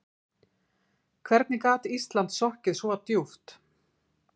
Hvernig gat Ísland sokkið svo djúpt?